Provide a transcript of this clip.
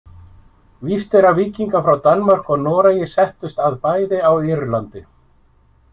Víst er að víkingar frá Danmörku og Noregi settust að bæði á Írlandi.